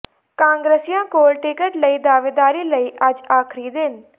ਕਾਂਗਰਸੀਆਂ ਕੋਲ ਟਿਕਟ ਲਈ ਦਾਅਵੇਦਾਰੀ ਲਈ ਅੱਜ ਆਖ਼ਰੀ ਦਿਨ